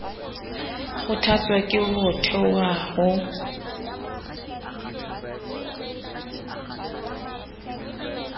kgothatswa ke ho thaotha ho